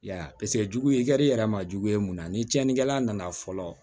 I y'a ye paseke jugu ye i kari yɛrɛ ma jugu ye mun na ni tiɲɛnikɛla nana fɔlɔ